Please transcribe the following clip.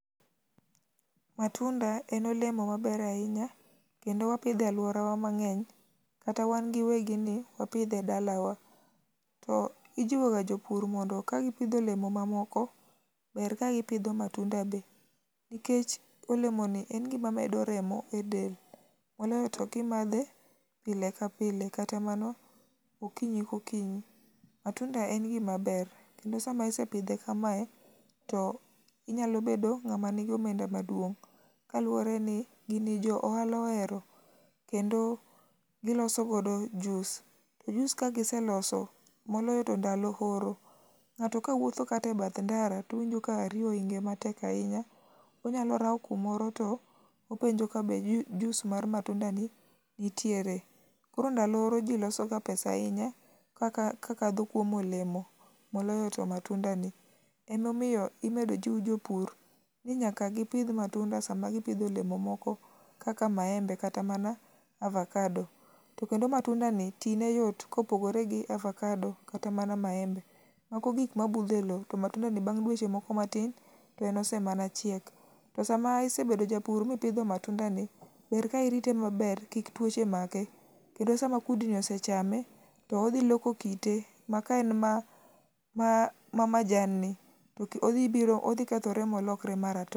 Matunda en olemo maber ahinya kendo wapidho e alworawa mang'eny, kata wan gi wegini wapidhe dalawa. To ijiwoga jopur mondo kagipidho olemo mamoko, ber kagipidho matunda be nikech olemoni en gima medo remo e del, moloyo to kimadhe pile ka pile kata mana okinyi kokinyi. Matunda en gimaber kendo sama asepidhe kamae, to inyalo bedo ng'ama nigi omenda maduong',kaluwore ni gini joohala ohero kendo giloso godo juice, to juice kagiseloso, moloyo to ndalo oro, ng'ato kawuotho kata e bath ndara towinjo ka riyo ohinge matek ahinya, onyalo rawo kumoro to openjo ka be juice mar matundani nitiere. Koro ndalo oro ji losoga pesa ahinya kakadho kuom olemo, moloyo to matundani. Emomiyo imedo jiw jopur ni nyaka gipidh matunda sama gipidho olemo moko kaka maembe kata mana avakado, to kendo matundani tine yot kopogore gi avakado kata mana maembe. Ok gik mabudho e lowo to matundani bang' dweche moko matin ,to en osemana chiek. To sama isebedo japur mipidho matundani, ber ka irite maber ,kik tuoche make, kendo sama kudni osechame, to odhi loko kite ma kaen mamajanni, to odhi kethore molokre maratong'.